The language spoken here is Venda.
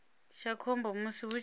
tsha khombo musi hu tshi